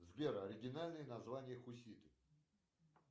сбер оригинальное название хуситы